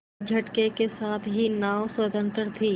एक झटके के साथ ही नाव स्वतंत्र थी